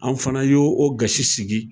An fana y'o o gasi sigi.